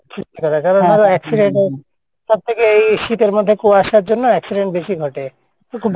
সৃষ্টি করা কারণ accident হোক সবথেকে এই শীতের মধ্যে কুয়াশার জন্য accident বেশি ঘটে তো খুব